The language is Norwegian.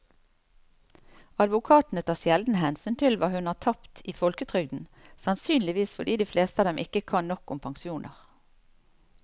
Advokatene tar sjelden hensyn til hva hun har tapt i folketrygden, sannsynligvis fordi de fleste av dem ikke kan nok om pensjoner.